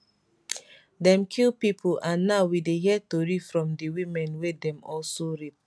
dem kill pipo and now we dey hear tori from di women wey dem also rape